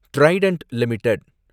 Trident limited